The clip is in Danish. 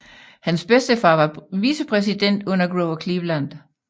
Hans bedstefar var vicepræsident under Grover Cleveland